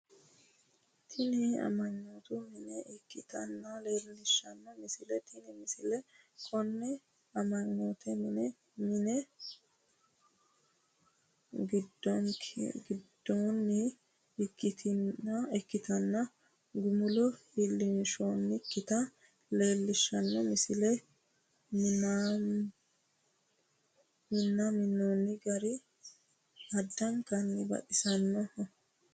Tini amma'note mine ikkinota leellishshanno misileeti tini misile konne amma'note mine minne gundoonnikkitanna gumulo iillinshoonnikkita leellishshanno misileeti minamino gari addanka baxissanno.